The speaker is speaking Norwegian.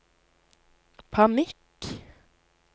panikk